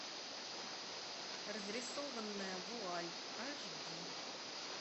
разрисованная вуаль аш ди